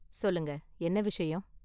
சொல்லுங்க, என்ன விஷயம்?